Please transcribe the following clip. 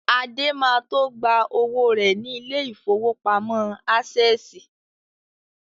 Adé ma tó gba owó rẹ̀ ní ilé ìfowópamọ́ Ásẹ̀sì